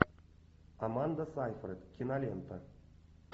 аманда сайфред кинолента